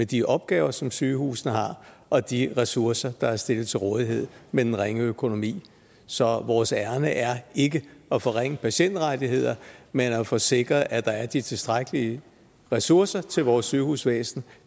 de opgaver som sygehusene har og de ressourcer der er stillet til rådighed med den ringe økonomi så vores ærinde er ikke at forringe patientrettighederne men at få sikret at der er de tilstrækkelige ressourcer til vores sygehusvæsen